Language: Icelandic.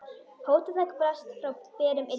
Fótatak barst frá berum iljum.